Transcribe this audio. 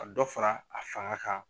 ka dɔ fara a fanga kan.